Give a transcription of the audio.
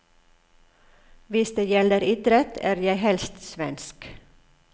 Hvis det gjelder idrett, er jeg helst svensk.